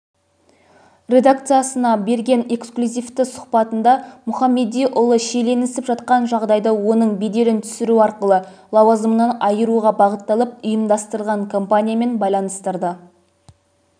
редакциясына берген эксклюзивтісұхбатындамұхамедиұлы шиеленісіп жатқан жағдайды оның беделін түсіру арқылы лауазымынан айыруға бағытталып ұйымдастырылған кампаниямен байланыстырды